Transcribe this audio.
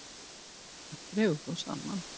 Þar dregur þó saman.